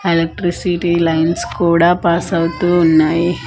Electricity lines కూడా pass అవుతూ ఉన్నాయి.